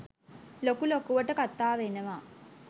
ලොකු ලොකුවට කතා වෙනවා